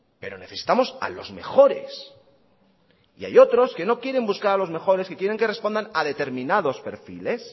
pero necesitamos a los mejores y hay otros que no quieren buscar a los mejores y quieren que respondan a determinados perfiles